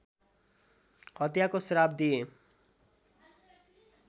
हत्याको श्राप दिए